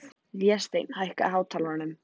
Vésteinn, hækkaðu í hátalaranum.